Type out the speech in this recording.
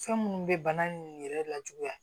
Fɛn minnu bɛ bana nunnu yɛrɛ lajuguya